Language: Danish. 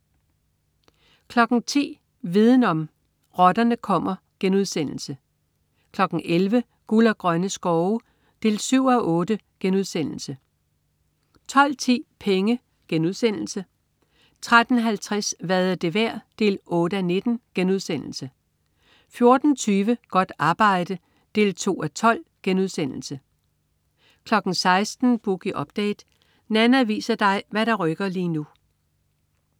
10.00 Viden om: Rotterne kommer* 11.00 Guld og grønne skove 7:8* 12.10 Penge* 13.50 Hvad er det værd? 8:19* 14.20 Godt arbejde 2:12* 16.00 Boogie Update. Nanna viser dig hvad der rykker lige nu